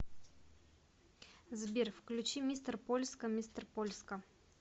сбер включи мистер польска мистер польска